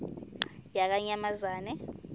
yakanyamazane